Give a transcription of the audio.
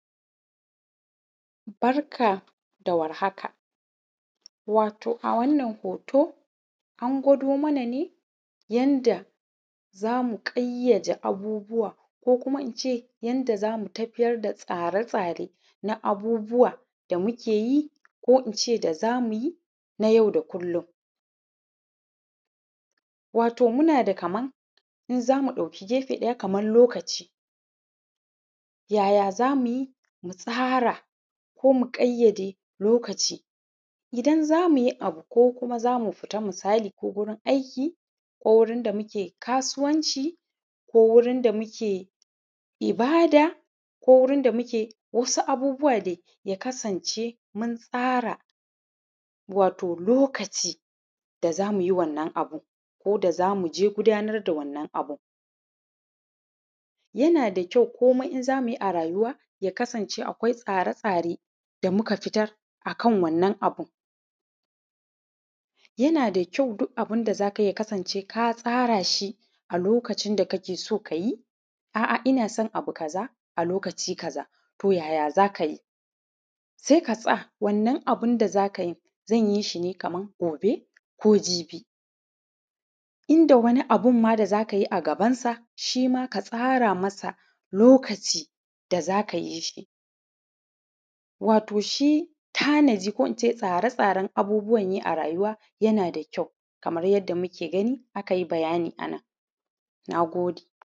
Barka dawar haka um a wannan hoto an gwado mana ne yanda zamu ƙayyaje abubuwa ko kuma ince yanda zamu tafiya da tsare tsare na abubuwa da mukeyi ko ince da zamuyi na yau da kullum. um munada kaman in zamu ɗauki gefe ɗaya kaman lokaci yaya zamuyi mutsara ko mu ƙayyade lokaci, idan zamuyi abu ko kuma zamu fita misali ko gurin aiki, ku wurin da muke kasuwanci ko wurin da muke ibada ko wurin da muke wasu abubuwa dai ya kasance muntsara um lokaci da zamuyi wannan abun koda zamuje gudanar da wannan abun. Yanada kyau komai in zamuyi a rayuwa ya kasance akwai tsare tsare da kuma fitar akan wannan abun, yana kyau duk abunda zakayi ya kasance katsarashi a lokacin da kake so kayi. A’a inna son abu kaza a lokaci kaza, ta yaya zakayi? Saika tsa wannan abunda zakayi zanyishi ne kaman gobe ko jibi inda wani abunma da zakayi a gabansa shima ka tsara masa lokaci da zaka yishi. um shi tanaji ko ince tsare tsaren abubuwanyi a rayuwa yanada kyau kamar yadda muke gani akayi bayani anan. Nagode